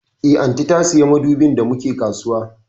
Eh, Aunty ta siya madubin da mu ke kasuwa